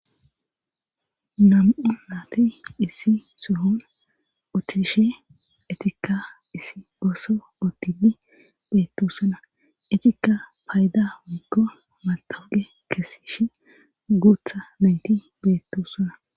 nam7u naati issi sohon utishe etikka issi gooso otidi beettosona etikka payda woykko matawuqe kesish guutha nayti beettosona